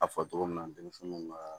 A fɔ togo min na denmisɛnninw ka